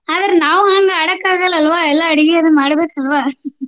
ಅದ್ರ್ ನಾವ್ ಹಂಗ ಆಡಕ್ ಆಗಲ್ಲಾ ಅಲ್ವಾ ಎಲ್ಲ ಅಡಗಿ ಎಲ್ಲ ಮಾಡ್ಬೇಕು ಅಲ್ವಾ